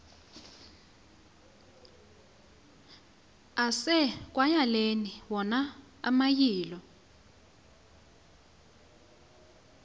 asekwayaleni wona amayilo